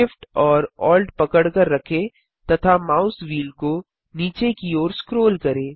Shift और Alt पकड़कर रखें तथा माउस व्हील को नीचे की ओर स्क्रोल करें